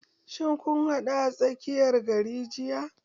Shin kun haɗu a tsakiyar gari jiya?